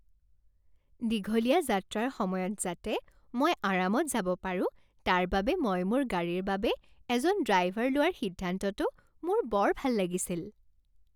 দীঘলীয়া যাত্ৰাৰ সময়ত যাতে মই আৰামত যাব পাৰোঁ তাৰ বাবে মই মোৰ গাড়ীৰ বাবে এজন ড্ৰাইভাৰ লোৱাৰ সিদ্ধান্তটো মোৰ বৰ ভাল লাগিছিল।